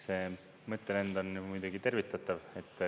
See mõttelend on muidugi tervitatav.